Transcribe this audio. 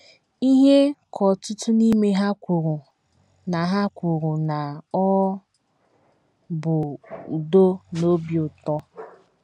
Ihe ka ọtụtụ n’ime ha kwuru na ha kwuru na ọ bụ udo na obi ụtọ.